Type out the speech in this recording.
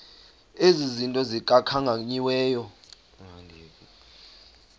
ezi zinto zikhankanyiweyo